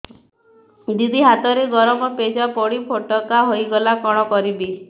ଦିଦି ହାତରେ ଗରମ ପେଜ ପଡି ଫୋଟକା ହୋଇଗଲା କଣ କରିବି